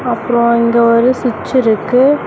அப்றம் இங்க ஒரு ஸ்விச் இருக்கு.